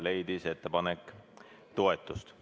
Ettepanek leidis toetust.